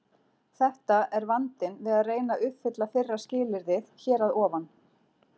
Þetta er vandinn við að reyna að uppfylla fyrra skilyrðið hér að ofan.